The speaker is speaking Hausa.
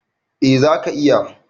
Eh za ka /ki iya.